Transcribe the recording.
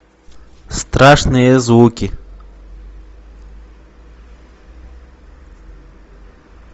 страшные звуки